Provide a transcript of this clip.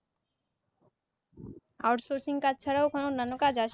outsourcing কাজ ছাড়া ও কোনো নেনো কাজ আছে